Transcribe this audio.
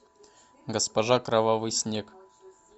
госпожа кровавый снег